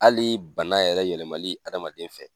Hali bana yɛrɛ yɛlɛmali hadamaden fɛ